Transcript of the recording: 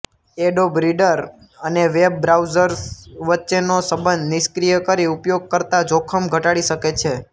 adobe Reader અને web browsers વચ્ચેનો સંબંધ નિષ્ક્રિય કરી ઉપયોગકર્તા જોખમ ઘટાડી શકે છે